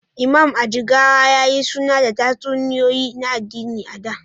Imam, a Jigawa, ya yi suna da tatsuniyoyi na addini a da.